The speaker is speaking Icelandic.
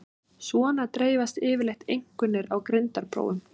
Svona dreifast yfirleitt einkunnir á greindarprófum.